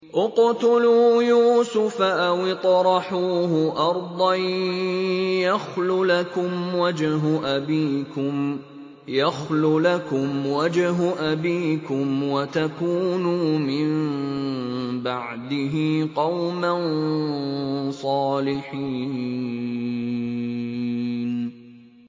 اقْتُلُوا يُوسُفَ أَوِ اطْرَحُوهُ أَرْضًا يَخْلُ لَكُمْ وَجْهُ أَبِيكُمْ وَتَكُونُوا مِن بَعْدِهِ قَوْمًا صَالِحِينَ